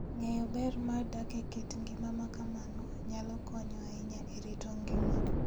Ng'eyo ber mar dak e kit ngima ma kamano, nyalo konyo ahinya e rito ngima.